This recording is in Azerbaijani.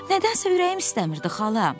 Nədənsə ürəyim istəmirdi, xala.